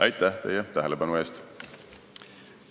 Aitäh teie tähelepanu eest!